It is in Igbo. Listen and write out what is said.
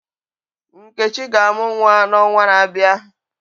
Nkechi ga-amu nwa n'ọnwa na-abịa.